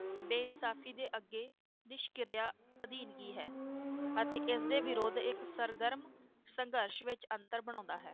ਬੇਇਨਸਾਫ਼ੀ ਦੇ ਅੱਗੇ ਨਿਸ਼ਕਿਰਿਆ ਅਧੀਨਗੀ ਹੈ ਅਤੇ ਇਸ ਦੇ ਵਿਰੋਧ ਇਕ ਸਰਗਰਮ ਸੰਘਰਸ਼ ਵਿਚ ਅੰਤਰ ਬਣਾਉਂਦਾ ਹੈ